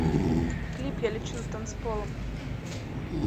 клип я лечу над танцполом